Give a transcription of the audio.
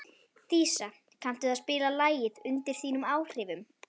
Dísa, kanntu að spila lagið „Undir þínum áhrifum“?